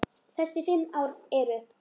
Þessi fimm ár eru